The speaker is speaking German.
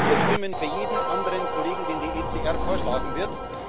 Wir stimmen für jeden anderen Kollegen, den die ECR vorschlagen wird.